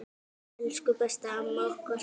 Elsku besta amma okkar.